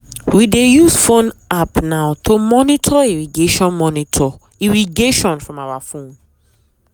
we dey use phone app now to monitor irrigation monitor irrigation from our phone.